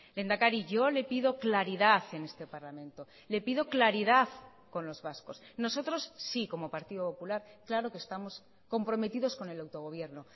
lehendakari yo le pido claridad en este parlamento le pido claridad con los vascos nosotros sí como partido popular claro que estamos comprometidos con el autogobierno